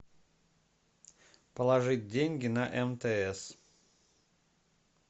положить деньги на мтс